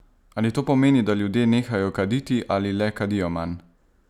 Ali to pomeni, da ljudje nehajo kaditi ali le kadijo manj?